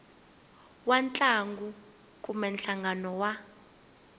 wa ntlangu kumbe nhlangano wa